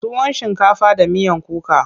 tuwon shinkafa da miyan kuka.